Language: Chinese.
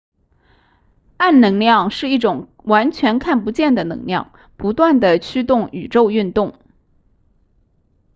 暗能量是一种完全看不见的能量不断地驱动宇宙运动